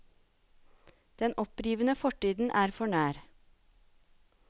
Den opprivende fortiden er for nær.